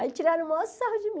Aí tiraram o maior sarro de mim.